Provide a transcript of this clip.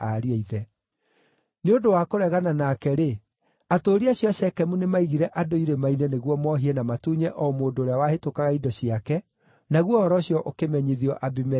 Nĩ ũndũ wa kũregana nake-rĩ, atũũri acio a Shekemu nĩmaigire andũ irĩma-inĩ nĩguo mohie na matunye o mũndũ ũrĩa wahĩtũkaga indo ciake, naguo ũhoro ũcio ũkĩmenyithio Abimeleku.